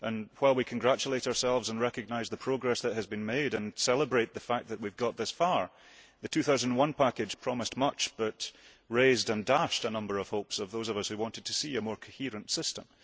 While we congratulate ourselves and recognise the progress that has been made and celebrate the fact that we have got this far, the 2001 package promised much but raised and dashed the hopes of those of us who wanted to see a more coherent system.